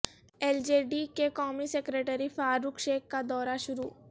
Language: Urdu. ایل جے ڈی کے قومی سکریڑی فاروق شیخ کا دورہ شروع